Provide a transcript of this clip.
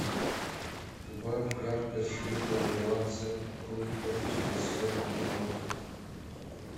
убавь яркость света на двадцать пунктов через сорок минут